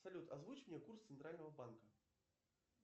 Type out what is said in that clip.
салют озвучь мне курс центрального банка